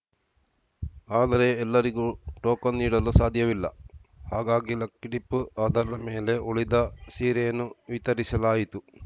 ಆದರೆ ಎಲ್ಲರಿಗೂ ಟೋಕನ್‌ ನೀಡಲು ಸಾಧ್ಯವಿಲ್ಲ ಹಾಗಾಗಿ ಲಕ್ಕಿಡಿಪ್‌ ಆಧಾರದ ಮೇಲೆ ಉಳಿದ ಸೀರೆಯನ್ನು ವಿತರಿಸಲಾಯಿತು